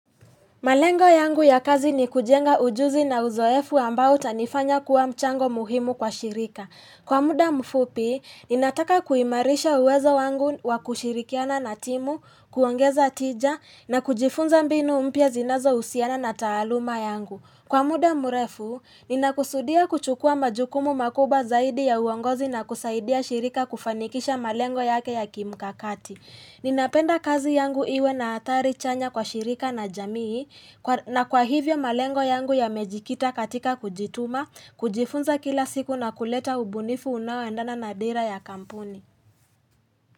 Malengo yangu ya kazi ni kujenga ujuzi na uzoefu ambao utanifanya kuwa mchango muhimu kwa shirika. Kwa muda mfupi, ninataka kuimarisha uwezo wangu wa kushirikiana na timu, kuongeza tija, na kujifunza mbinu mpya zinazohusiana na taaluma yangu. Kwa muda mrefu, ninakusudia kuchukua majukumu makubwa zaidi ya uongozi na kusaidia shirika kufanikisha malengo yake ya kimkakati. Ninapenda kazi yangu iwe na athari chanya kwa shirika na jamii na kwa hivyo malengo yangu yamejikita katika kujituma, kujifunza kila siku na kuleta ubunifu unaoendana na dira ya kampuni.